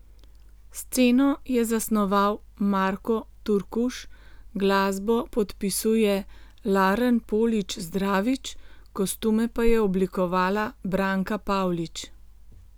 Sceno je zasnoval Marko Turkuš, glasbo podpisuje Laren Polič Zdravič, kostume pa je oblikovala Branka Pavlič.